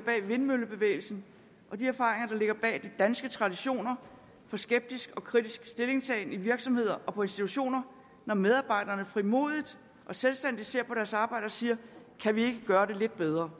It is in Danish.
bag vindmøllebevægelsen og de erfaringer der ligger bag de danske traditioner for skeptisk og kritisk stillingtagen i virksomheder og på institutioner når medarbejderne frimodigt og selvstændigt ser på deres arbejde og siger kan vi ikke gøre det lidt bedre